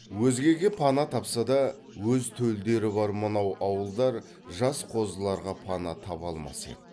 өзгеге пана тапса да өз төлдері бар мынау ауылдар жас қозыларға пана таба алмас еді